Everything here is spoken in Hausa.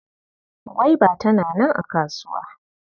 Gwaiba tana nan a kasuwa.